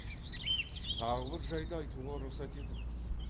тағы бір жайды айтуға рұқсат етіңіз